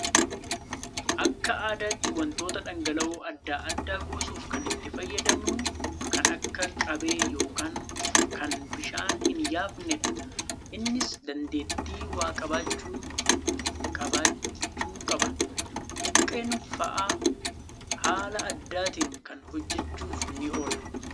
Akka aadaatti wantoota dhangala'oo adda addaa kuusuuf kan itti fayyadamnu kan akka qabee yookaan kan bishaan hin yaafnedha. Innis dandeettii waa qabachuu qabaachuu qaba. Buqqeen fa'aa haala addaatiin kana hojjachuuf ni oola